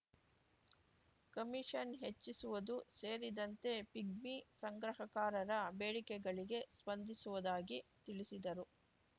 commission ಹೆಚ್ಚಿಸುವುದು ಸೇರಿದಂತೆ pigmy ಸಂಗ್ರಹಕಾರರ ಬೇಡಿಕೆಗಳಿಗೆ ಸ್ಪಂದಿಸುವುದಾಗಿ ತಿಳಿಸಿದರು